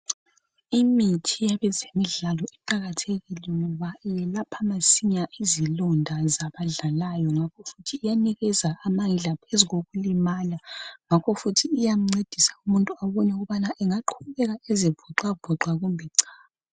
Imithi yabezemidlalo iqakathekile ngoba iyelapha masinya izilonda zabadlalayo ngakho futhi iyanikeza amandla phezu kokulimala ngakho futhi iyamncedisa umuntu ukut engaqubeka ezivocavova noma cha